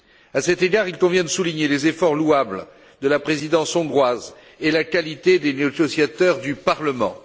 À cet égard, il convient de souligner les efforts louables de la Présidence hongroise et la qualité des négociateurs du Parlement.